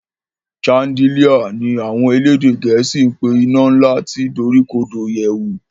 Chandelier ní àwọn elédè gèésì pé ina Nla tí dorikodo ìyèwù